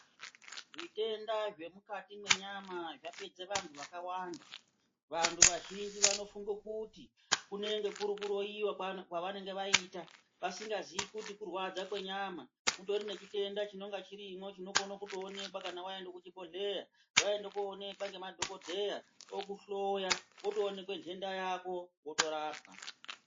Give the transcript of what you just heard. Zvitenda zvemukati mwenyama zvapedza vantu vakawanda. Vantu vazhinji vanofunge kuti kunenge kuri kuroiwa kwavanenge vaita vasingazii kuti kurwadza kwenyama. Mutori nechitenda chinonga chirimwo chinokone kutoonekwa kana waenda kuchibhohleya, Waenda koonekwa ngemadhokodheya okuhloya wotonekwa nhenda yako wotorapwa.